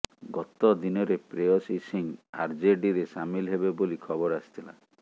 ଗତ ଦିନରେ ଶ୍ରେୟସୀ ସିଂହ ଆରଜେଡିରେ ସାମିଲ ହେବେ ବୋଲି ଖବର ଆସିଥିଲା